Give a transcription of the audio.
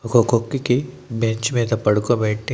ఒక కొక్కి కి బెంచ్ మీద పడుకోబెట్టి--